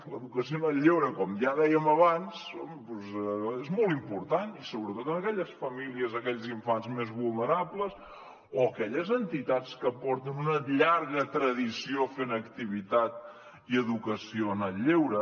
l’educació en el lleure com ja dèiem abans és molt important i sobretot en aquelles famílies i aquells infants més vulnerables o aquelles entitats que porten una llarga tradició fent activitat i educació en el lleure